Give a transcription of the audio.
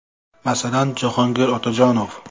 Masalan, Jahogir Otajonov?